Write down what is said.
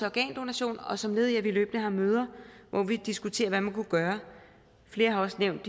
organdonation og som led i at vi løbende har møder hvor vi diskuterer hvad man kunne gøre flere har også nævnt